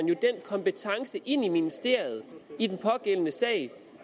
jo den kompetence ind i ministeriet i den pågældende sag